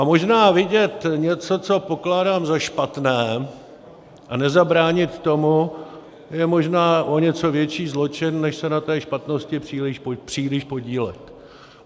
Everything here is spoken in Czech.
A možná vidět něco, co pokládám za špatné, a nezabránit tomu, je možná o něco větší zločin, než se na té špatnosti příliš podílet.